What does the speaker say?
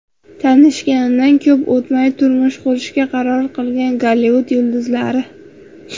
Tanishganidan ko‘p o‘tmay turmush qurishga qaror qilgan Gollivud yulduzlari .